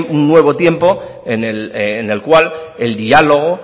un nuevo tiempo en el cual el diálogo